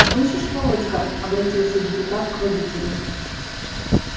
слышишь володька обратился депутат к водителю